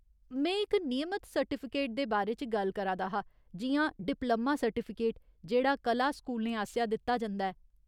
में इक नियमत सर्टिफिकेट दे बारे च गल्ल करा दा हा, जि'यां डिप्लोमा सर्टिफिकेट जेह्ड़ा कला स्कूलें आसेआ दित्ता जंदा ऐ।